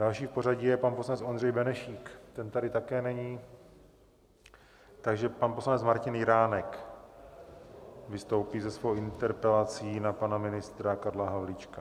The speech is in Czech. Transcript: Další v pořadí je pan poslanec Ondřej Benešík, ten tady také není, takže pan poslanec Martin Jiránek vystoupí se svou interpelací na pana ministra Karla Havlíčka.